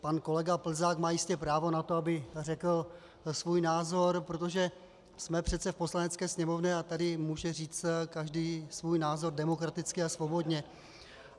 Pan kolega Plzák má jistě právo na to, aby řekl svůj názor, protože jsme přece v Poslanecké sněmovně a tady může říci každý svůj názor demokraticky a svobodně.